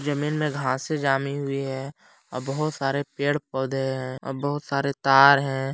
जमीन में घासें जामी हुई है और बहुत सारे पेड़ पौधे हैं और बहुत सारे तार हैं।